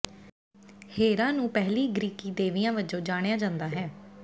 ਹੇਰਾ ਨੂੰ ਪਹਿਲੀ ਗ੍ਰੀਕੀ ਦੇਵੀਆਂ ਵਜੋਂ ਜਾਣਿਆ ਜਾਂਦਾ ਹੈ